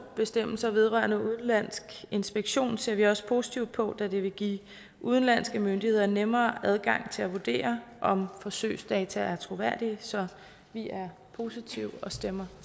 bestemmelser vedrørende udenlandsk inspektion ser vi også positivt på da det vil give udenlandske myndigheder nemmere adgang til at vurdere om forsøgsdata er troværdige så vi er positive og stemmer